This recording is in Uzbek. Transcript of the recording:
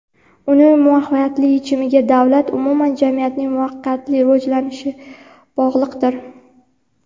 uning muvaffaqiyatli yechimiga davlat va umuman jamiyatning muvaffaqiyatli rivojlanishi bog‘liqdir.